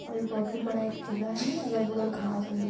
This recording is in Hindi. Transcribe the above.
और एक बहुत ही बड़ा एक किला है। अगल बगल घास उगे --